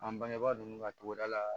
An bangebaa ninnu ka togoda la